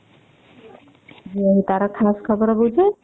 ଝିଅ ର ତାର ଖାସ ଖବର ବୁଝେ